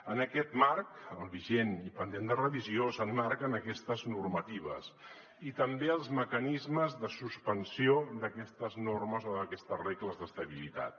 en aquest marc el vigent i pendent de revisió s’emmarquen aquestes normatives i també els mecanismes de suspensió d’aquestes normes o d’aquestes regles d’estabilitat